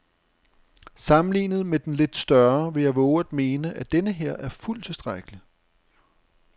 Sammenlignet med den lidt større vil jeg vove at mene, at denneher er fuldt tilstrækkelig.